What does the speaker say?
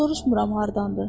Soruşmuram hardandır.